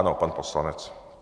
Ano, pan poslanec.